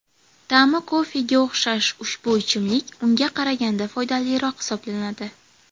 Ta’mi kofega o‘xshash ushbu ichimlik ungan qaraganda foydaliroq hisoblanadi.